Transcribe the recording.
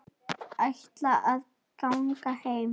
Þær ætla að ganga heim.